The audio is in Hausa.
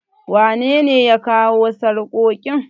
wanene ya kawo sarkokin?